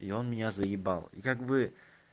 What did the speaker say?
и он меня заебал и как бы